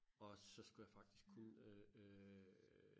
og så skulle jeg faktisk kun øh